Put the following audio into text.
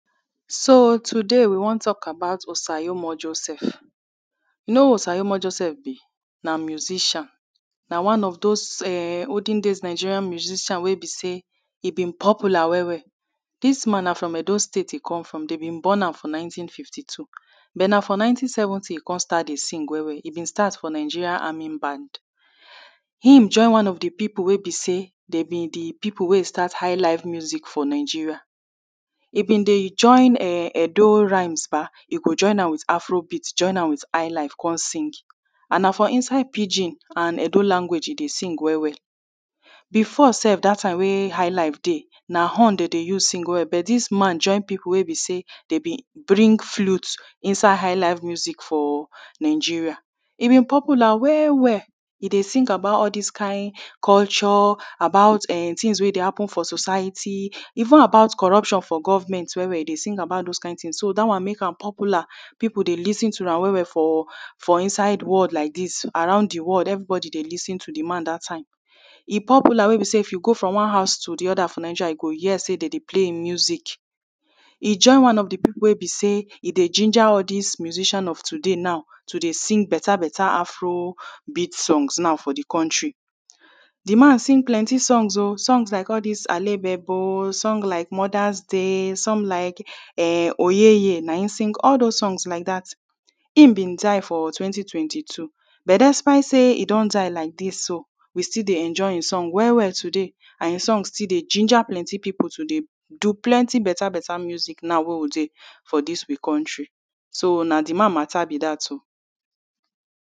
So, today we wan talk about Osayomo Joseph you know who Osayomo Joseph be? na musician na one of those ehhh olden days Nigerian musician wey be say, he been popular well well this man na from Edo state he come from them born am for nineteen fifty two then na from nineteen seventy he come de start to sing well well, he been start for Nigeria army band. him join all the people wey be say, they been de people wey start high life music for Nigeria he been de join Edo ryhmes ba, he go join am with Afro beat, join am with high life come sing. and na for inside pidgin and Edo language he de sing well well before sef that time wey highlight dey na horn dey de use sing well but this man join people wey be say dey de bring flute inside highlife music for Nigeria. He been popular well well He de sing about all this kind culture, about eh things wey de happen for society, even about corruption for government he de sing about well well de sing about those kind things so that one make am popular people de lis ten to am well well for for inside world like this, around the world everybody de lis ten to the man that time. He popular wey be say if you go from one house to the other for Nigeria you go hear say them de play him music He join one of the people wey be say he dey ginger all this musician of today now to de sing better better Afro beats songs now for the country the man sings plenty song o, songs like all this Alebebo, song like Mother's day, song like eh Oyeye na ehm sing all those songs like that him been die for twenty twenty two but dispite say he don die like this so we still de enjoy ehm song well well today and ehm song still de ginger plenty people today do plenty better better music now wey we de for this we country so na the man matter be that o.